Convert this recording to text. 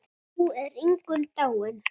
Nú er Ingunn dáin.